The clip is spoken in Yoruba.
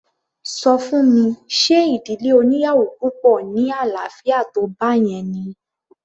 Ṣọ fún mi ṣe ìdílé oníyàwò púpọ̀ ní àlàáfíà tó báyẹn ni?